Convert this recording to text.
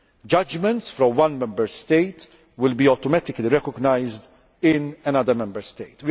Judgments for one Member State will automatically be recognised in another Member